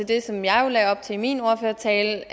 det som jeg lagde op til i min ordførertale